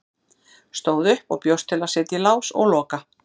Stóð upp og bjóst til að setja í lás og loka.